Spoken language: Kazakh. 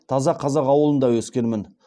таза қазақ ауылында өскенмін